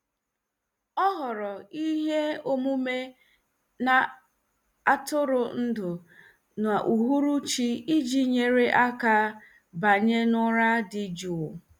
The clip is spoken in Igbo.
Ọ họọrọ ihe omume na-atụrụ ndụ n'uhuruchi iji nyere aka banye n'ụra dị jụụ.